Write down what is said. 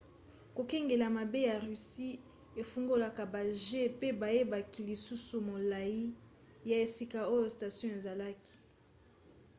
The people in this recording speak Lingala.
kokengela mabe ya russie efungolaka bajets pe bayebaki lisusu molai ya esika oyo station ezalaka